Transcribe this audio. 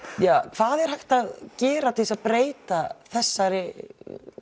hvað er hægt að gera til að breyta þessari